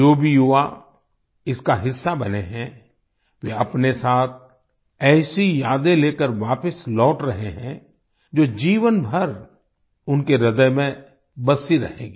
जो भी युवा इसका हिस्सा बने हैं वे अपने साथ ऐसी यादें लेकर वापस लौट रहे हैं जो जीवनभर उनके ह्रदय में बसी रहेंगी